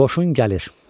Qoşun gəlir.